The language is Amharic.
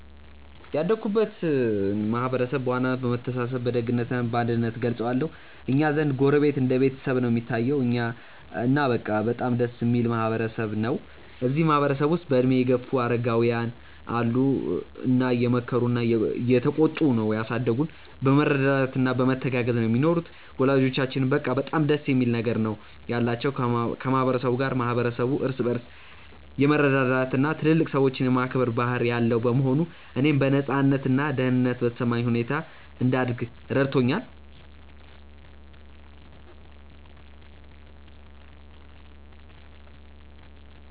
ያደግኩበትን ማህበረሰብ በዋናነት በመተሳሰብ በደግነት እና በአንድነት እገልጸዋለሁ። እኛ ዘንድ ጎረቤት እንደ ቤተሰብ ነው እሚታየዉ። እና በቃ በጣም ደስ እሚል ማህበረ ሰብ ነው። እዚህ ማህበረ ሰብ ውስጥ በእድሜ የገፉ አረጋውያን አሉ እና እየመከሩና እየተቆጡ ነው ያሳደጉን። በመረዳዳት እና በመተጋገዝ ነው ሚኖሩት። ወላጆቻችንም በቃ በጣም ደስ የሚል ነገር ነው ያላቸው ከ ማህበረ ሰቡ ጋር። ማህበረሰቡ እርስ በርስ የመረዳዳት እና ትልልቅ ሰዎችን የማክበር ባህል ያለው በመሆኑ፣ እኔም በነፃነት እና ደህንነት በተሰማኝ ሁኔታ እንድደግ ረድቶኛል።